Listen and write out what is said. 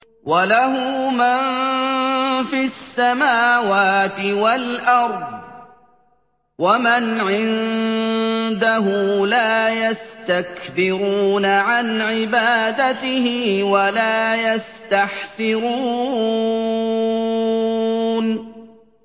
وَلَهُ مَن فِي السَّمَاوَاتِ وَالْأَرْضِ ۚ وَمَنْ عِندَهُ لَا يَسْتَكْبِرُونَ عَنْ عِبَادَتِهِ وَلَا يَسْتَحْسِرُونَ